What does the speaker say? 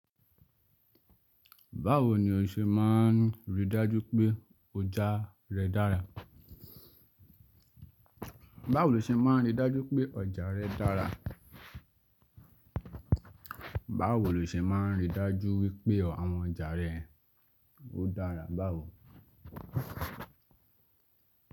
Báwo ni o ṣe máa n rí i dájú pé ọjà rẹ dára? Báwo lo ṣe máa n rí dajupe oja re dara? I dájú wípé àwọn ọjà rẹ ó dára báwo?